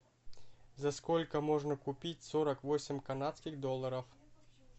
за сколько можно купить сорок восемь канадских долларов